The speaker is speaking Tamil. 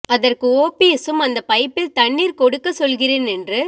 அதற்கு ஓபிஎஸ்சும் அந்த பைப்பில் தண்ணீர் கொடுக்க சொல்கிறேன் என்று